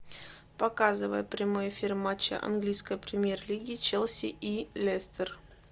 показывай прямой эфир матча английской премьер лиги челси и лестер